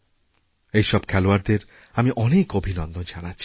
এই সব খেলোয়াড়দেরআমি অনেক অভিনন্দন জানাচ্ছি